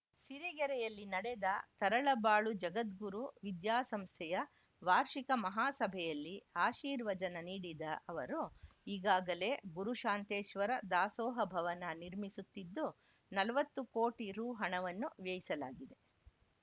ಸಿರಿಗೆರೆಯಲ್ಲಿ ನಡೆದ ತರಳಬಾಳು ಜಗದ್ಗುರು ವಿದ್ಯಾಸಂಸ್ಥೆಯ ವಾರ್ಷಿಕ ಮಹಾಸಭೆಯಲ್ಲಿ ಆಶೀರ್ವಚನ ನೀಡಿದ ಅವರು ಈಗಾಗಲೇ ಗುರುಶಾಂತೇಶ್ವರ ದಾಸೋಹ ಭವನ ನಿರ್ಮಿಸುತ್ತಿದ್ದು ನಲವತ್ತು ಕೋಟಿ ರುಹಣವನ್ನು ವ್ಯಯಿಸಲಾಗಿದೆ